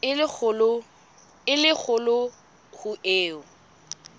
e le kgolo ho eo